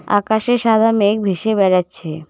আকাশে সাদা মেঘ ভেসে বেড়াচ্ছে।